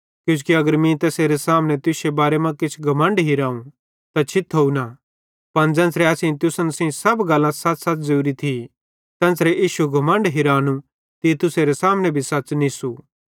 किजोकि अगर मीं तैसेरे सामने तुश्शे बारे मां किछ घमण्ड हिराव त छिथोव न पन ज़ेन्च़रे असेईं तुसन सेइं सब गल्लां सच़सच़ जोरी थी तेन्च़रे इश्शू घमण्ड हिरानू तीतुसेरे सामने भी सच़ निस्सू